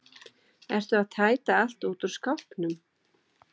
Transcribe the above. Ertu að tæta allt út úr skápnum?